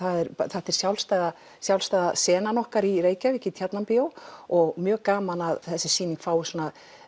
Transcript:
þetta er sjálfstæða sjálfstæða senan okkar í Reykjavík í Tjarnarbíói og það mjög gaman að þessi sýning fái svona